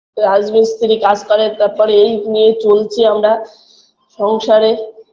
রাজমিস্ত্রি কাজ করে তারপরে এই নিয়ে চলছি আমরা সংসারে